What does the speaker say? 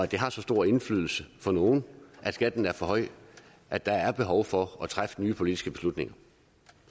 det har så stor indflydelse for nogle at skatten er for høj at der er behov for at træffe nye politiske beslutninger